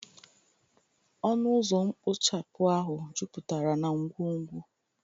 ọnụ ụzọ mkpochapụ ahụ juputara na ngwongwo